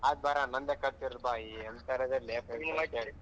ಆಯ್ತು ಬಾರ ನಂದೇ ಖರ್ಚ್ ಇರ್ಲಿ ಎಂತೋರ್ ಲೇ ಯಪ್ಪಾ.